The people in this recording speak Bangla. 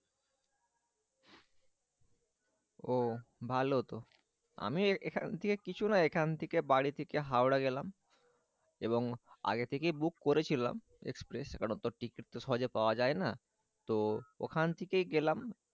ও ভালো তো আমি এখান থেকে কিছু না এখান থেকে বাড়ি থেকে হাওড়া গেলাম এবং আগে থেকেই বুক করেছিলাম express এখনো তো ওখান থেকে গেলাম।